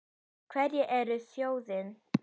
Hverjir eru þjóðin?